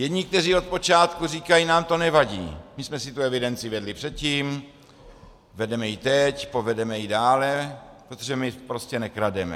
Jedni, kteří od počátku říkají: nám to nevadí, my jsme si tu evidenci vedli předtím, vedeme ji teď, povedeme ji dále, protože my prostě nekrademe.